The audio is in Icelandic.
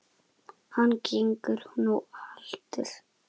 Hann gengur nú haltur.